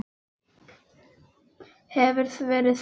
Hefur verið svart.